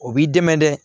O b'i dɛmɛ dɛ